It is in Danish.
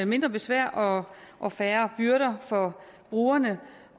mindre besvær og og færre byrder for brugerne